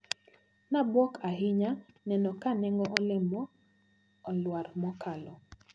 Nabuok ahinya neno ka nengo olembe olwar mokalo.